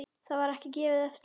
Það var ekki gefið eftir.